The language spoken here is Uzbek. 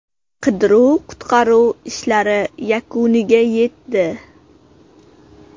Qidiruv-qutqaruv ishlari yakuniga yetdi.